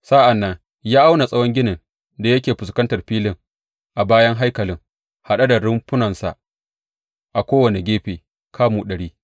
Sa’an nan ya auna tsawon ginin da yake fuskantar filin a bayan haikalin, haɗe da rumfunansa a kowane gefe, kamu ɗari.